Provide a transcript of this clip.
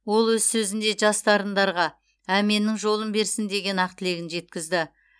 ол өз сөзінде жас дарындарға әменнің жолын берсін деген ақ тілегін жеткізді